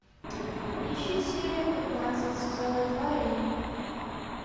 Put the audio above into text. ищи серию пятнадцать сезона два рим